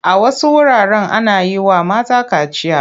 A wasu wuraren ana yi wa mata kaciya.